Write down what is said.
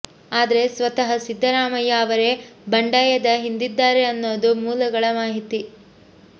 ಆದ್ರೆ ಸ್ವತಃ ಸಿದ್ದರಾಮಯ್ಯ ಅವರೇ ಬಂಡಾಯದ ಹಿಂದಿದ್ದಾರೆ ಅನ್ನೋದು ಮೂಲಗಳ ಮಾಹಿತಿ